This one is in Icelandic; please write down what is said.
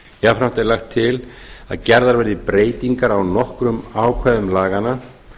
jafnframt er lagt til að gerðar verði breytingar á nokkrum ákvæðum laganna